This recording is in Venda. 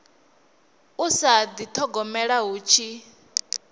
u sa dithogomela hu tshi